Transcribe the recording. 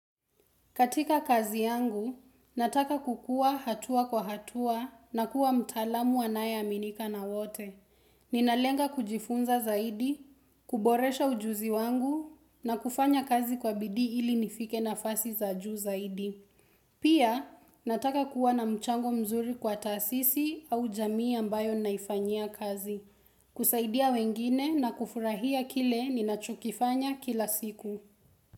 Katika kazi yangu, nataka kukua hatua kwa hatua na kuwa mtaalamu anayeaminika na wote. Ninalenga kujifunza zaidi, kuboresha ujuzi wangu na kufanya kazi kwa bidii ili nifike nafasi za juu zaidi. Pia, nataka kuwa na mchango mzuri kwa taasisi au jamii ambayo naifanyia kazi. Kusaidia wengine na kufurahia kile ninachokifanya kila siku.